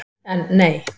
En, nei!